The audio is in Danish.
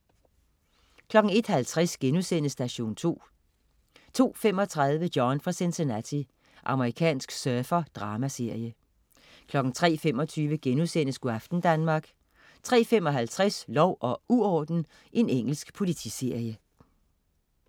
01.50 Station 2* 02.35 John fra Cincinnati. Amerikansk surfer-dramaserie 03.25 Go' aften Danmark* 03.55 Lov og uorden. Engelsk politiserie